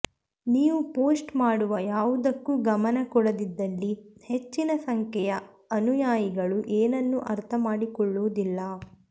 ನೀವು ಪೋಸ್ಟ್ ಮಾಡುವ ಯಾವುದಕ್ಕೂ ಗಮನ ಕೊಡದಿದ್ದಲ್ಲಿ ಹೆಚ್ಚಿನ ಸಂಖ್ಯೆಯ ಅನುಯಾಯಿಗಳು ಏನನ್ನೂ ಅರ್ಥಮಾಡಿಕೊಳ್ಳುವುದಿಲ್ಲ